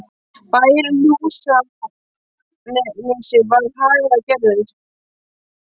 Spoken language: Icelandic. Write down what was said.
Bærinn í Húsanesi var haganlega gerður.